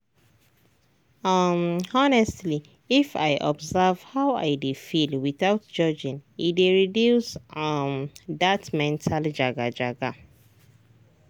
um honestly if i observe how i dey feel without judging e dey reduce um that mental jaga-jaga.